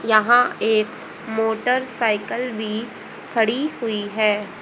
यहां एक मोटरसायकल भी खड़ी हुई है।